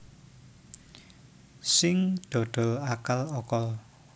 Sing dodol akal okol